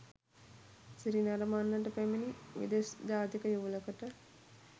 සිරි නරඹන්නට පැමිණි විදෙස් ජාතික යුවළකට